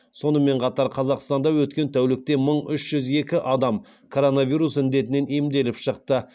сонымен қатар қазақстанда өткен тәулікте мың үш жүз екі адам коронавирус індетінен емделіп шықты